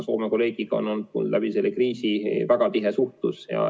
Soome kolleegiga on olnud selle kriisi ajal väga tihe suhtlus.